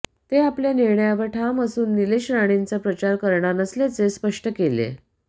ते आपल्या निर्णयावर ठाम असून नीलेश राणेंचा प्रचार करणार नसल्याचे स्पष्ट केलेय